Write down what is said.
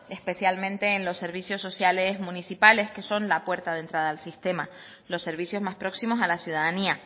especialmente en el los servicios sociales municipales que son la puerta de entrada al sistema los servicios más próximos a la ciudadanía